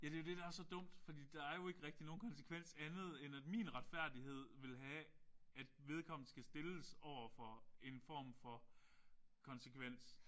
Ja det er jo det der er så dumt fordi der er jo ikke rigtig nogen konsekvens andet end at min retfærdighed vil have at vedkommende skal stilles overfor en form for konsekvens